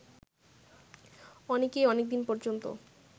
অনেকেই অনেকদিন পর্যন্ত